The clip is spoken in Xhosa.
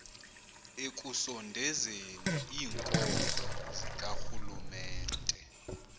ekusondezeni iinkonzo zikarhulumente